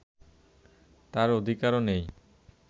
তাঁর অধিকারও নেই